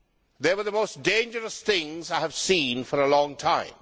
They were the most dangerous things I have seen for a long time.